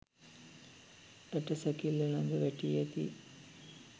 ඇට සැකිල්ල ලඟ වැටී ඇති